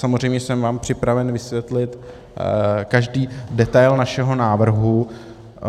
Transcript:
Samozřejmě jsem vám připraven vysvětlit každý detail našeho návrhu.